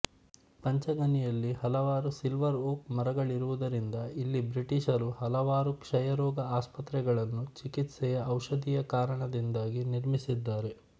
ಪಂಚಗನಿಯಲ್ಲಿ ಹಲವಾರು silver oak ಮರಗಳಿರುವುದರಿಂದಇಲ್ಲಿ ಬ್ರಿಟಿಷರು ಹಲವಾರು ಕ್ಷಯರೋಗ ಆಸ್ಪತ್ರೆಗಳನ್ನು ಚಿಕಿತ್ಸೆಯ ಔಷಧೀಯಕಾರಣದಿಂದಾಗಿ ನಿರ್ಮಿಸಿದ್ದಾರೆ